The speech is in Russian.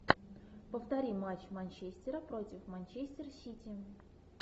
повтори матч манчестера против манчестер сити